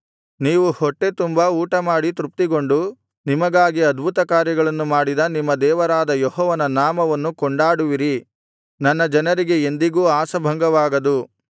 ನೀವು ಹೊಟ್ಟೆ ತುಂಬಾ ಊಟಮಾಡಿ ತೃಪ್ತಿಗೊಂಡು ನಿಮಗಾಗಿ ಅದ್ಭುತಕಾರ್ಯಗಳನ್ನು ಮಾಡಿದ ನಿಮ್ಮ ದೇವರಾದ ಯೆಹೋವನ ನಾಮವನ್ನು ಕೊಂಡಾಡುವಿರಿ ನನ್ನ ಜನರಿಗೆ ಎಂದಿಗೂ ಆಶಾಭಂಗವಾಗದು